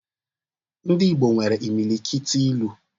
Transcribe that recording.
Ndị Igbo nwere imilikiti ilu